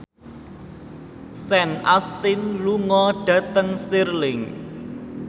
Sean Astin lunga dhateng Stirling